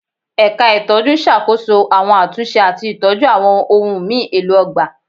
Ẹ̀ka ìtọ́jú n ṣàkóso àwọn àtúnṣe àti ìtọ́jú àwọn ohùn mi èlò ọgbà